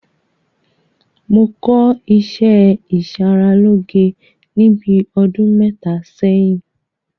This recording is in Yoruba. Mo kọ́ ìṣẹ́ ìṣaralóge ní bíi ọdún mẹ́ta sẹ́yìn.